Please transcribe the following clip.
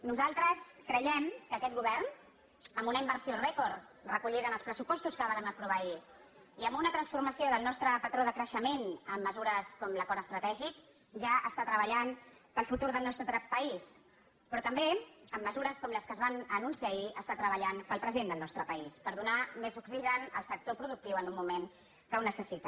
nosaltres creiem que aquest govern amb una inversió rècord recollida en els pressupostos que vàrem aprovar ahir i amb una transformació del nostre patró de creixement amb mesures com l’acord estratègic ja treballa per al futur del nostre país però també amb mesures com les que es van anunciar ahir està treballant per al present del nostre país per donar més oxigen al sector productiu en un moment que ho necessita